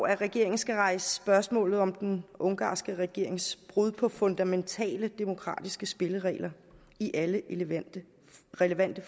at regeringen skal rejse spørgsmålet om den ungarske regerings brud på fundamentale demokratiske spilleregler i alle relevante relevante